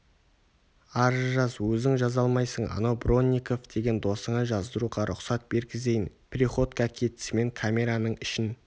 арыз жаз өзің жаза алмайсың анау бронников деген досыңа жаздыруға рұқсат бергізейін приходько кетісімен камераның ішін